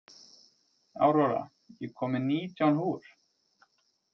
Aurora, ég kom með nítján húfur!